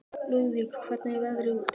Lúðvík, hvernig er veðrið úti?